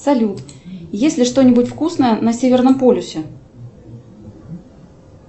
салют есть ли что нибудь вкусное на северном полюсе